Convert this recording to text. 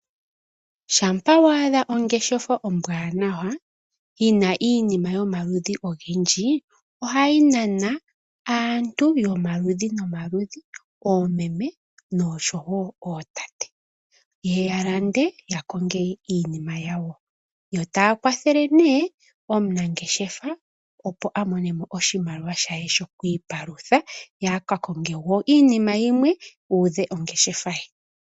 Shampa wa adha ongeshefa ombwanawa yi na iinima yomaludhi ogendji ohayi nana aantu yomaludhi nomaludhi, oomene osho wo ootate, ye ye ya lande ya konge iinima yawo. Yo taya kwathele nee omunangeshefa opo a monemo oshimaliwa she shoku ipalutha ye a ka konge wo iinima yimwe a udhe ongeshefa ye.